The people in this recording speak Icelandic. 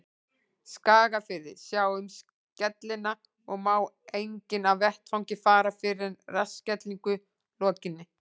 Skagafirði, sjá um skellina, og má enginn af vettvangi fara fyrr en að rassskellingu lokinni.